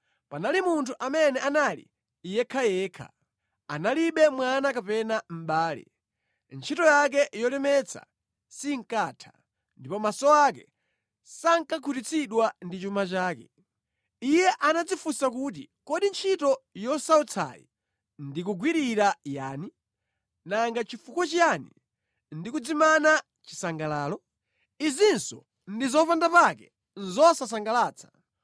Panali munthu amene anali yekhayekha; analibe mwana kapena mʼbale. Ntchito yake yolemetsa sinkatha, ndipo maso ake sankakhutitsidwa ndi chuma chake. Iye anadzifunsa kuti, “Kodi ntchito yosautsayi ndikuyigwirira yani? Nanga nʼchifukwa chiyani ndikudzimana chisangalalo?” Izinso ndi zopandapake, zosasangalatsa!